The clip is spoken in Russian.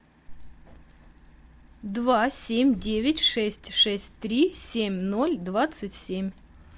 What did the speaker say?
два семь девять шесть шесть три семь ноль двадцать семь